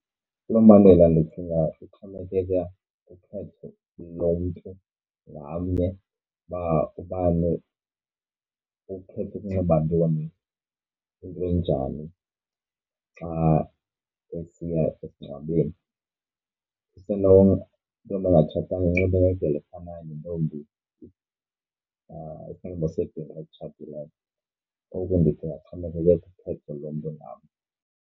Kuloo mbandela ndicinga kuxhomekeka ukhetho lo mntu ngamnye uba ubani ukhetha ukunxiba ntoni into enjani xa esiya esingcwabeni. Isenoba intombi engatshatanga inxibe ngendlela efanayo nentombi sebhinqa elitshatileyo. Oku ndithi kuxhomekeke kukhetho lomntu ngamnye.